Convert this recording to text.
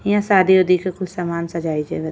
यहाँ शादी उदी के कुछ सामान सजवाए बा।